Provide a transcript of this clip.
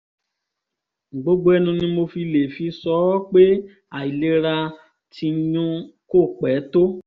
gbogbo ẹnu ni mo lè fi sọ ọ́ pé àìlera tìnyu kò pẹ́ tó